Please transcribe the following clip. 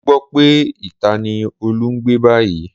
Mo gbọ́ pé ìta ni Olú ń gbé báyìí